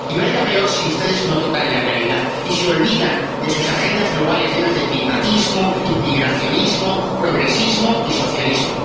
Y va a ir a peor si ustedes no tocan la realidad y se olvidan de sus agendas globales, llenas de climatismo, inmigracionismo, progresismo y socialismo.